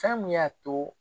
Fɛn min y'a to